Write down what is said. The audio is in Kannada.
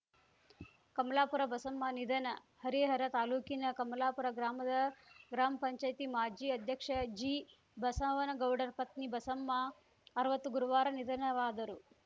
ಕಮಲಾಪುರ ಬಸಮ್ಮ ನಿಧನ ಹರಿಹರ ತಾಲೂಕಿನ ಕಮಲಾಪುರ ಗ್ರಾಮದ ಗ್ರಾಮ್ ಪಂಚಾಯ್ತಿ ಮಾಜಿ ಅಧ್ಯಕ್ಷ ಜಿಬಸವನಗೌಡರ ಪತ್ನಿ ಬಸಮ್ಮ ಅರ್ವತ್ತು ಗುರುವಾರ ನಿಧನರಾದರು